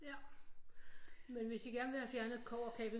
Ja men hvis I gerne vil have fjernet et kobberkabel